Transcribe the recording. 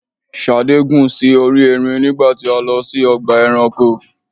Ṣadé gùn sí orí ẹrin nígbà tí a lọ sí ọgbà ẹranko.